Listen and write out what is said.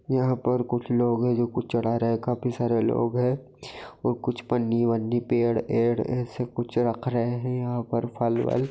यहां पर कुछ लोग है जो कुछ चढ़ा रहे है काफी सारे लोग है और कुछ पन्नी-वन्नी पेड़-एड़ ऐसा कुछ रख रहे है यहां पर फल-वल --